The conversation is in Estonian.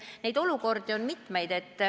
Neid olukordi on mitmeid.